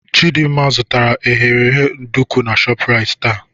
Chidimma zụtara eghereghe nduku na Shoprite taa.